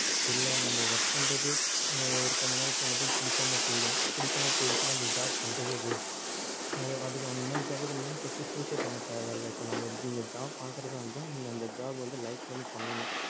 இல்லை நம்ம work பண்றது ஒரு கொஞ்ச நாள் போனதும் பிடிக்காம போயிடும் பிடிக்காம போயிடுச்சுன்னா அந்த job பண்றதே waste அது அதுக்கு அந்த மாதிரி job க்கு நீங்க வந்து first choose ஏ பண்ண தேவையில்ல இங்க job பாக்குறதா இருந்தா நீங்க அந்த job வந்து like பண்ணி பண்ணணும்